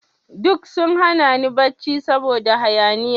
Duk sun hana ni barci saboda hayaniya.